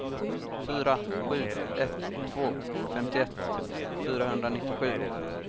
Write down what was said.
fyra sju ett två femtioett fyrahundranittiosju